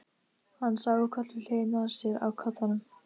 Hann sá á koll við hliðina á sér á koddanum.